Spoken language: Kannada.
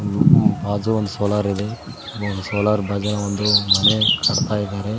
ಬಾಜು ಒಂದು ಸೋಲಾರ್ ಇದೆ ಸೋಲಾರ್ ಬಾಜಿನೆ ಒಂದು ಮನೆ ಕಟ್ತಾ ಇದಾರೆ.